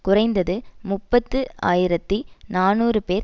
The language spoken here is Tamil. குறைந்தது முப்பது ஆயிரத்தி நாநூறு பேர்